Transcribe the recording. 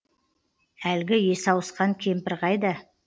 әлгі есі ауысқан кемпір қайда